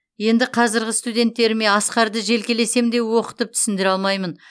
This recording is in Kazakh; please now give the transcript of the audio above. енді қазіргі студенттеріме асқарды желкелесем де оқытып түсіндіре алмаймын